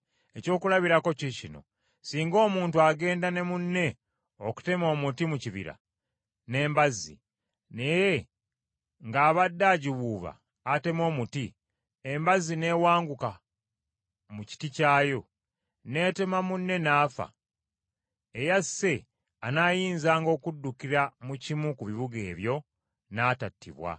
Ekyokulabirako kiikino: Singa omuntu agenda ne munne okutema omuti mu kibira n’embazzi, naye ng’abadde agiwuuba ateme omuti, embazzi n’ewanguka mu kiti kyayo, n’etema munne n’afa, eyasse anaayinzanga okuddukira mu kimu ku bibuga ebyo, n’atattibwa.